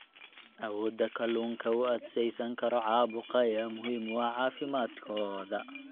Awoodda kalluunka u adkeysan karo caabuqa ayaa muhiim u ah caafimaadkooda.